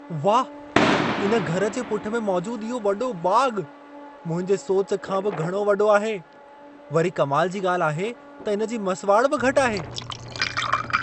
वाह! इन घर जे पुठि में मौजूदु इहो वॾो बाग़ु, मुंहिंजे सोच खां बि घणो वॾो आहे! वरी कमाल जी ॻाल्हि आहे त इन जी मसिवाड़ बि घटि आहे।